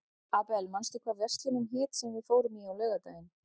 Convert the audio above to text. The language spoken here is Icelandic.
Abel, manstu hvað verslunin hét sem við fórum í á laugardaginn?